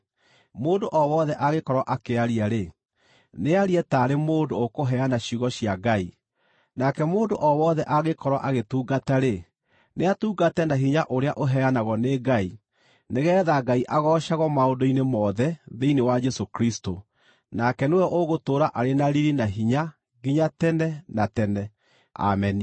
Mũndũ o wothe angĩkorwo akĩaria-rĩ, nĩarie taarĩ mũndũ ũkũheana ciugo cia Ngai. Nake mũndũ o wothe angĩkorwo agĩtungata-rĩ, nĩatungate na hinya ũrĩa ũheanagwo nĩ Ngai, nĩgeetha Ngai agoocagwo maũndũ-inĩ mothe thĩinĩ wa Jesũ Kristũ. Nake nĩwe ũgũtũũra arĩ na riiri na hinya nginya tene na tene. Ameni.